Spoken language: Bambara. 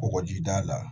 Kɔgɔjida la